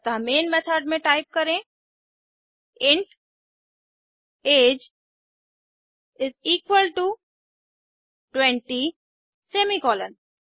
अतः main method में type करें int age is equal to 20 semicolon